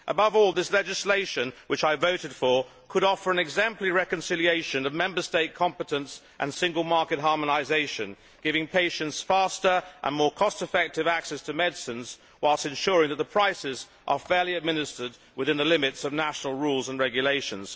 Above all this legislation, which I voted for, could offer an exemplary reconciliation of Member State competence and Single Market harmonisation, giving patients faster and more cost effective access to medicines while ensuring that their prices are fairly administered within the limits of national rules and regulations.